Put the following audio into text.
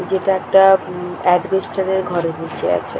যেটা একটা উম এডভেস্টার ঘরে বসে আছে ।